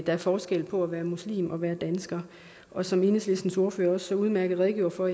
er forskel på at være muslim og være dansker som enhedslistens ordfører også så udmærket redegjorde for